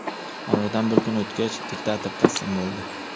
Oradan bir kun o‘tgach, diktator taslim bo‘ldi.